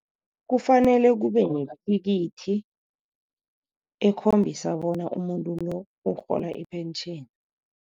Kufanele kube nethikithi ekhombisa bona umuntu lo ukurhola ipentjheni.